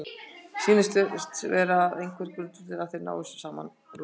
Sýnist vera að það sé einhver grundvöllur að þeir nái saman að lokum?